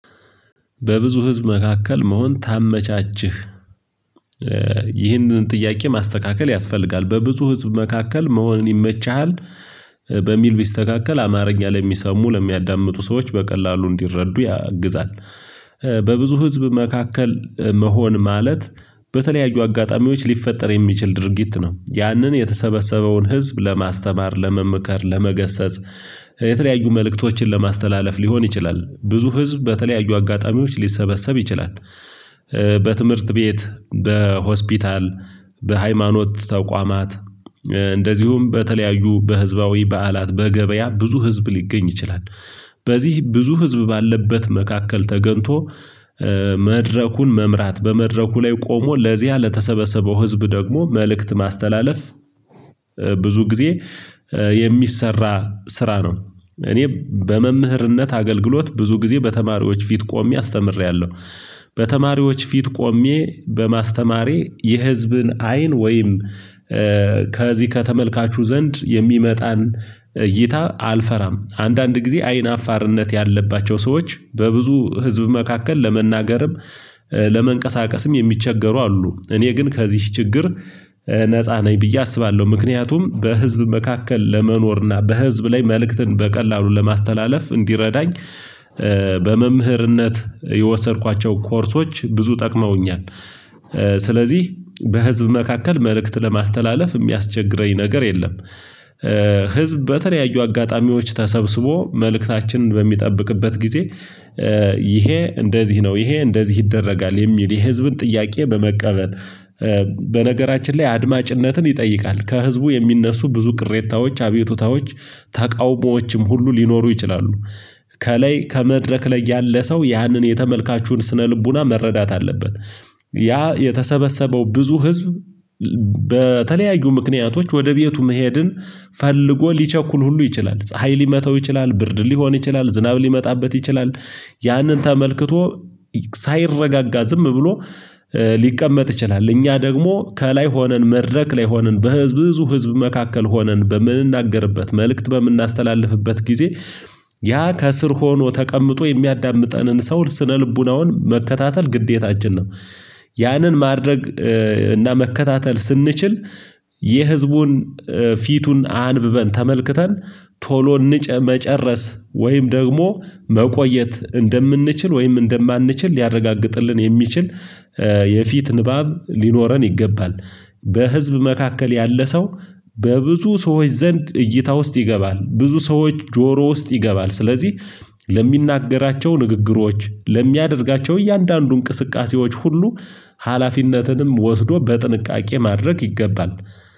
በብዙ ህዝብ መካከል መሆን ታመቻችህ ይህንን ጥያቄ ማስተካከል ያስፈልጋል። በብዙ ህዝብ መካከል መሆንን ይመችሃል በሚል ቢስተካከል አማርኛ ላይ የሚሰሙ ለሚያዳምጡ ሰዎች በቀላሉ እንዲረዱ ያግዛል። በብዙ ህዝብ መካከል መሆን ማለት በተለያዩ አጋጣሚዎች ሊፈጠር የሚችል ድርጊት። ነው ያንን የተሰበሰበውን ህዝብ ለማስተማር፤ ለመምከር ለመገሰጽ የተለያዩ መልእክቶችን ለማስተላለፍ ሊሆን ይችላል። ብዙ ህዝብ በተለያዩ አጋጣሚዎች ሊሰበሰብ ይችላል። በትምህርት ቤት፣ በሆስፒታል፣ በሃይማኖት ተቋማት እንደዚሁም በተለያዩ በህዝባዊ በዓላት በገበያ ብዙ ህዝብ ሊገኝ ይችላል። በዚህ ብዙ ህዝብ ባለበት መካከል ተገንቶ መድረኩን መምራት፣ በመድረኩ ላይ ቆሞ ለዚያ ለተሰበሰበው ህዝብ ደግሞ መልእክት ማስተላለፍ ብዙ ጊዜ የሚሰራ ስራ ነው። እኔ በመምህርነት አገልግሎት ብዙ ጊዜ በተማሪዎች ፊት ቆሜ አስተምሬያለሁ። በተማሪዎች ፊት ቆሜ በማስተማሬ የህዝብን አይን ወይም ከዚህ ከተመልካቹ ዘንድ የሚመጣን እይታ አልፈራም። አንዳንድ ጊዜ አይን አፋርነት ያለባቸው ሰዎች በብዙ ህዝብ መካከል ለመናገርም፣ ለመንቀሳቀስም የሚቸገሩ አሉ። እኔ ግን ከዚህ ችግር ነፃ ነኝ ብዬ አስባለሁ። ምክንያቱም በህዝብ መካከል ለመኖርና በህዝብ ላይ መልእክትን በቀላሉ ለማስተላለፍ እንዲረዳኝ በመምህርነት የወሰድኳቸው ኮርሶች ብዙ ጠቅመውኛል። ስለዚህ በህዝብ መካከል መልእክት ለማስተላለፍ የሚያስቸግረኝ ነገር የለም። ህዝብ በተለያዩ አጋጣሚዎች ተሰብስቦ መልእክታችንን በሚጠብቅበት ጊዜ ይሄ እንደዚህ ነው፣ ይሄ እንደዚህ ይደረጋል የሚል የህዝብን ጥያቄ በመቀበል በነገራችን ላይ አድማጭነትን ይጠይቃል። ከህዝቡ የሚነሱ ብዙ ቅሬታዎች፣ አቤቱታዎች፣ ተቃውሞዎችም ሁሉ ሊኖሩ ይችላሉ። ከላይ ከመድረክ ላይ ያለ ሰው ያንን የተመልካቹን ስነ ልቦና መረዳት አለበት። ያ የተሰበሰበው ብዙ ህዝብ በተለያዩ ምክንያቶች ወደ ቤቱ መሄድን ፈልጎ ሊቸኩል ሁሉ ይችላል፣ ፀሀይ ሊመተው ይችላል፣ ብርድ ሊሆን ይችላል፣ ዝናብ ሊመጣበት ይችላል፣ ያንን ተመልክቶ ሳይረጋጋ ዝም ብሎ ሊቀመጥ ይችላል። እኛ ደግሞ ከላይ ሆነን፣ መድረክ ላይ ሆነን በህዝብ ብዙ ህዝብ መካከል ሆነን፣ በምንናገርበት መልእክት በምናስተላልፍበት ጊዜ ያ፣ ከስር ሆኖ ተቀምጦ የሚያዳምጠንን ሰው ስነልቦናውን መከታተል ግዴታችን ነው። ያንን ማድረግ እና መከታተል ስንችል የህዝቡን ፊቱን አንብበን፣ ተመልክተን ቶሎ ንጨ መጨረስ ወይም ደግሞ መቆየት እንደምንችል ወይም እንደማንችል ሊያረጋግጥልን የሚችል የፊት ንባብ ሊኖረን ይገባል። በህዝብ መካከል ያለ ሰው በብዙ ሰዎች ዘንድ እይታ ውስጥ ይገባል። ብዙ ሰዎች ጆሮ ውስጥ ይገባል። ስለዚህ ለሚናገራቸው ንግግሮች፣ ለሚያደርጋቸው እያንዳንዱ እንቅስቃሴዎች ሁሉ ሀላፊነትንም ወስዶ በጥንቃቄ ማድረግ ይገባል።